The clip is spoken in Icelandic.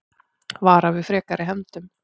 Vara við frekari hefndum